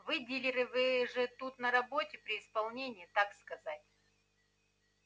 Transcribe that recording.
вы дилеры вы же тут на работе при исполнении так сказать